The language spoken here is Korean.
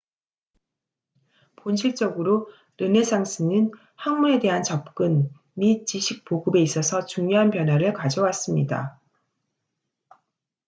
본질적으로 르네상스는 학문에 대한 접근 및 지식 보급에 있어서 중요한 변화를 가져왔습니다